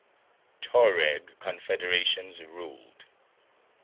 tuareg confederations ruled